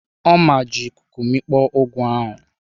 Ọma ji ikuku mikpọ ugu ahụ.